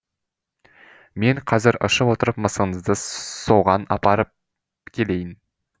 мен қазір ұшып отырып мысығыңызды соған апарып келейін